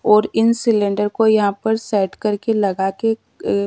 और इन सिलेंडर को यहां पर सेट करके लगाके अ--